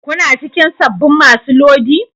Kuna cikin sabbin masu lodi?